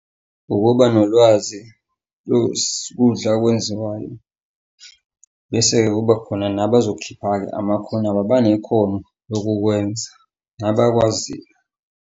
Ukuba nolwazi lokudla okwenziwayo, bese-ke kuba khona nabazokhipha-ke amakhono abo abanekhono lokukwenza nabakwaziyo.